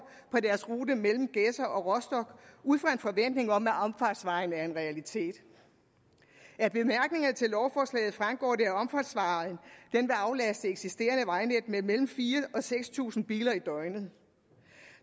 på deres rute mellem gedser og rostock ud fra en forventning om at omfartsvejen bliver en realitet af bemærkningerne til lovforslaget fremgår det at omfartsvejen vil aflaste det eksisterende vejnet med mellem fire og seks tusind biler i døgnet